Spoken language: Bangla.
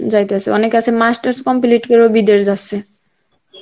যাইতাছে অনেকে আছে masters complete করে বিদেশ যাচ্ছে.